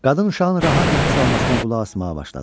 Qadın uşağın rahat nəfəs almasına qulaq asmağa başladı.